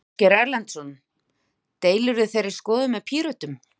Ásgeir Erlendsson: Deilirðu þeirri skoðun með Pírötum?